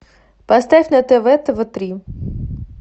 поставь на тв тв три